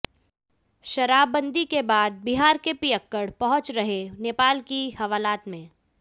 शराबबंदी के बाद बिहार के पियक्कड़ पहुंच रहे नेपाल की हवालात में